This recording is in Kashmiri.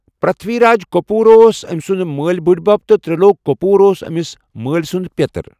پِرتھوی راج کٔپوٗر اوس أمہِ سُنٛد مٲلۍ بٕٗڈِبب تہٕ تِرٛلوک کٔپوٗر اوس أمِس مٲلۍ سُنٛد پیٚتٕر۔